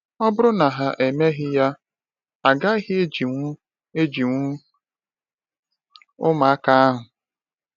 Ọ bụrụ na ha emeghị ya, agaghị ejiwu ejiwu ụmụaka ahụ.